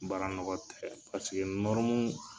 Baara nɔgɔ tɛ paseke